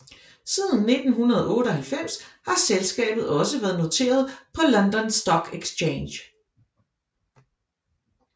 Siden 1998 har selskabet også været noteret på London Stock Exchange